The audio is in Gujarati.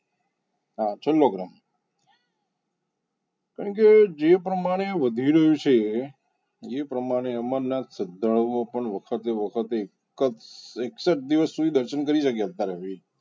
હા છેલ્લો ક્રમ કારણ કે જે પ્રમાણે વધી રહ્યું છે જે પ્રમાણે અમરનાથ શ્રદ્ધાળુઓ પણ વખતે વખતેએક જ એકસઠ દિવસ સુધી દર્શન કરી શક્યા છે